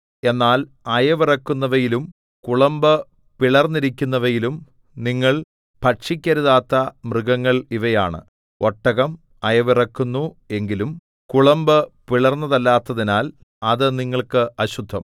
എന്നാൽ അയവിറക്കുന്നവയിലും കുളമ്പ് പിളർന്നിരിക്കുന്നവയിലും നിങ്ങൾ ഭക്ഷിക്കരുതാത്ത മൃഗങ്ങൾ ഇവയാണ് ഒട്ടകം അയവിറക്കുന്നു എങ്കിലും കുളമ്പ് പിളർന്നതല്ലാത്തതിനാൽ അത് നിങ്ങൾക്ക് അശുദ്ധം